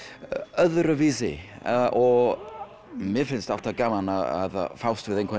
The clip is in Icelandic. öðruvísi og mér finnst alltaf gaman að fást við eitthvað